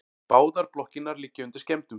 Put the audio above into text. Báðar blokkirnar liggja undir skemmdum